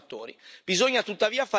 Bisogna tuttavia fare di più.